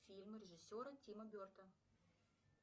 фильмы режиссера тима бертона